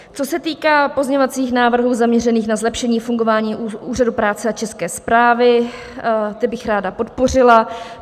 Co se týká pozměňovacích návrhů zaměřených na zlepšení fungování úřadů práce a české správy, ty bych ráda podpořila.